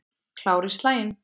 Klár í slaginn.